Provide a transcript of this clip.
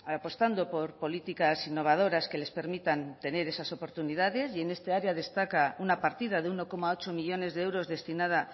apostando por políticas innovadoras que les permitan tener esas oportunidades y en este área destaca una partida de uno coma ocho millónes de euros destinada